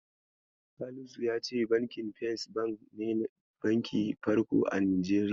Salisu yace Bankin First Bank ne bakin Farko a Najeriya.